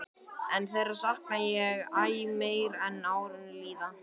En þeirra sakna ég æ meir sem árin líða.